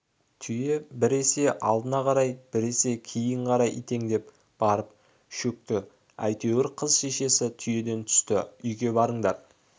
түйе біресе алдына қарай біресе кейін қарай итеңдеп барып шөкті әйтеуір қыз шешесі түйеден түсті үйге барыңдар